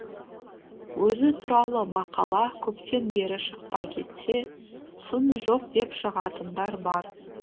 өзі туралы мақала көптен бері шықпай кетсе сын жоқ деп шығатындар бар